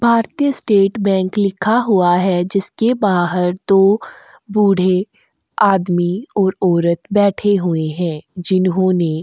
भारतीय state bank लिखा हुआ है जिसके बाहर दो बूढ़े आदमी और औरत बैठे हुए हैं जिन्होंने --